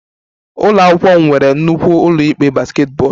Ụlọ akwụkwọ m nwere nnukwu ụlọ ikpe basketball